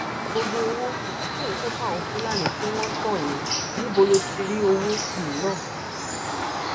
gbogbo owó um tó ń kó fáwọn fúlàní tí wọn ń tàn án yìí níbo ló ti rí owó um náà